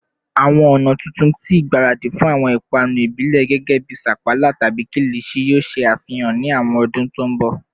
Awọn ọna tuntun ti igbaradi fun awọn ipanu ibile gẹgẹbi sapala tabi kilichi yoo ṣe afihan ni awọn ọdun to nbo?